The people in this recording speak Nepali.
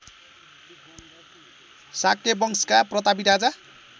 शाक्यवंशका प्रतापी राजा